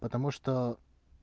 потому что